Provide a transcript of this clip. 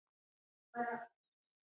Guð geymi þig, Óli minn.